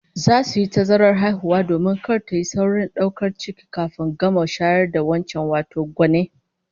Za su yi tazarar haihuwa domin kar tayi saurin daukar ciki kafin ta gama shayar da wancan, wato gwanne